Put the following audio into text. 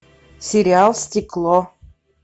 сериал стекло